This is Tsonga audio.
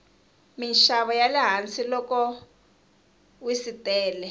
minxavo yale hansi loko wsitele